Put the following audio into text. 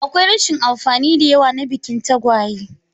Akwai rashin amfani da yawa na bikin tagwaye.